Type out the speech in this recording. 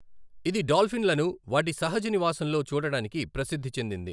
ఇది డాల్ఫిన్లను వాటి సహజ నివాసంలో చూడటానికి ప్రసిద్ధి చెందింది.